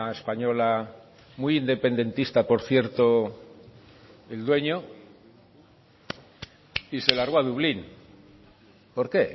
española muy independentista por cierto el dueño y se largó a dublín por qué